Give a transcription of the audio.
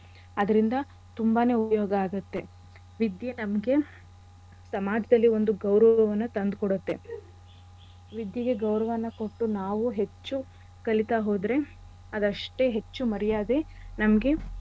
ಅದ್ರಿಂದ ತುಂಬಾನೇ ಉಪ್ಯೋಗ ಆಗತ್ತೆ. ವಿದ್ಯೆ ನಮ್ಗೆ ಸಮಾಜದಲ್ಲಿ ಒಂದ್ ಗೌರವವನ್ನ ತಂದ್ ಕೊಡತ್ತೆ. ವಿದ್ಯೆಗೆ ಗೌರವನ ಕೊಟ್ಟು ನಾವು ಹೆಚ್ಚು ಕಲಿತಾ ಹೋದ್ರೆ ಅದಷ್ಟೇ ಹೆಚ್ಚು ಮರ್ಯಾದೆ ನಮ್ಗೆ.